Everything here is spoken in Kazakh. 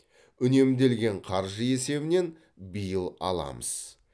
үнемделген қаржы есебінен биыл аламыз